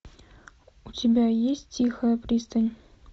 у тебя есть тихая пристань